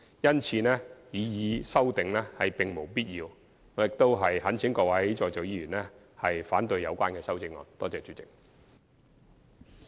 因此，擬議修正案並無必要，我懇請各位在席委員反對有關修正案。